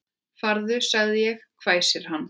Farðu sagði ég, hvæsir hann.